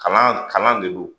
Kalan kalan de don